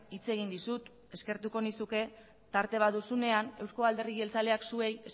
hitz egin dizut eskertuko nizuke tarte bat duzunean eusko alderdi jeltzaleak zuei